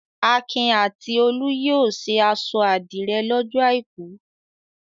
Akin a ti Olú yóò ṣe aṣọ àdìrẹ́ lọ́jọ́ àìkú.